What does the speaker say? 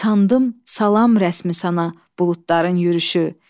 Sandım, salam rəsmi sana buludların yürüşü.